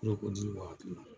N'o ko dili b'a kun na.